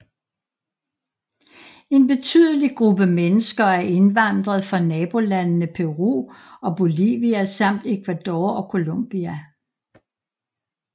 En betydelig gruppe mennesker er indvandret fra nabolandene Peru og Bolivia samt Ecuador og Colombia